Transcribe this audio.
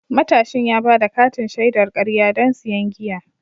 Matashin ya ba da katin shaidar karya don siyan giya.